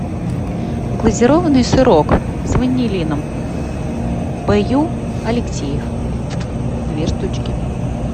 глазированный сырок с ванилином б ю алексеев две штучки